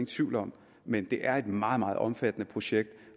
tvivl om men det er et meget meget omfattende projekt